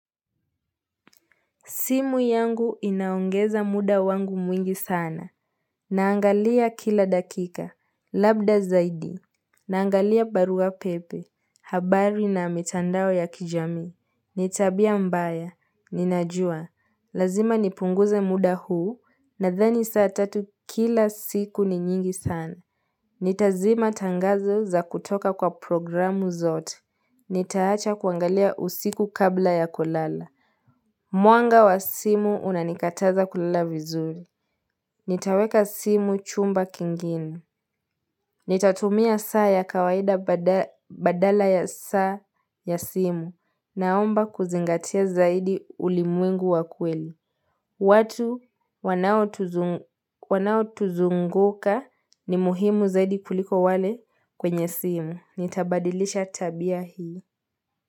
Simu yangu inaongeza muda wangu mwingi sana. Naangalia kila dakika. Labda zaidi. Naangalia barua pepe. Habari na mitandao ya kijamii. Ni tabia mbaya. Ninajua. Lazima nipunguze muda huu. Nadhani saa tatu kila siku ni nyingi sana. Nitazima tangazo za kutoka kwa programu zote. Nitaacha kuangalia usiku kabla ya kulala. Mwanga wa simu unanikataza kulala vizuri. Nitaweka simu chumba kingine. Nitatumia saa ya kawaida badala ya saa ya simu naomba kuzingatia zaidi ulimwengu wa kweli. Watu wanao tuzunguka ni muhimu zaidi kuliko wale kwenye simu. Nitabadilisha tabia hii.